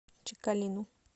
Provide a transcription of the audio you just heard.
чекалину